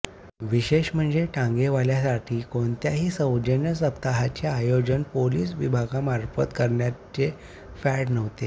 विशेष म्हणजे टांगेवाल्यांंसाठी कोणत्याही सौजन्य सप्ताहाचे आयोजन पोलीस विभागामार्फत करण्याचे फॅड नव्हते